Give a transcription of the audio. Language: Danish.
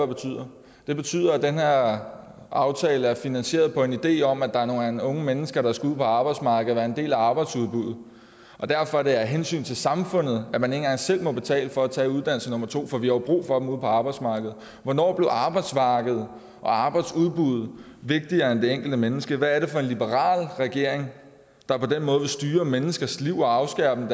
betyder det betyder at den her aftale er finansieret på en idé om at der er nogle unge mennesker der skal ud på arbejdsmarkedet og være en del af arbejdsudbuddet og derfor er det af hensyn til samfundet at man ikke engang selv må betale for at tage uddannelse nummer to for vi har jo brug for dem ude på arbejdsmarkedet hvornår blev arbejdsmarkedet og arbejdsudbuddet vigtigere end det enkelte menneske hvad er det for en liberal regering der på den måde vil styre menneskers liv og afskære dem